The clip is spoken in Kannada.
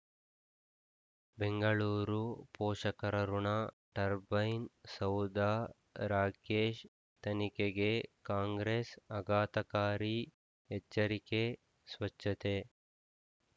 ಬೆಂಗಳೂರು ಪೋಷಕರಋಣ ಟರ್ಬೈನ್ ಸೌಧ ರಾಕೇಶ್ ತನಿಖೆಗೆ ಕಾಂಗ್ರೆಸ್ ಆಘಾತಕಾರಿ ಎಚ್ಚರಿಕೆ ಸ್ವಚ್ಛತೆ